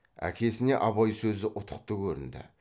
әкесіне абай сөзі ұтықты көрінді